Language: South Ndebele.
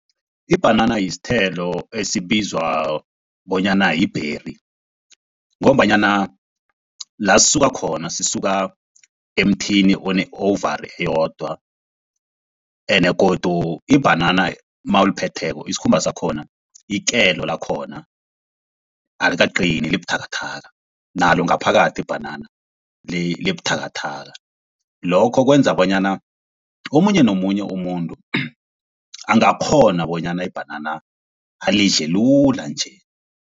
Ibhanana sithelo esibizwa bonyana yi-berry, ngombanyana la sisuka khona sisuka emthini one-ovarie eyodwa, ene godu ibhanana nawuliphetheko isikhumba sakhona, ikelo lakhona alikaqini liba buthakathaka nalo ngaphakathi ibhanana liba buthakathaka. Lokho kwenza bonyana omunye nomunye umuntu angakghona bonyana ibhanana alidle lula nje.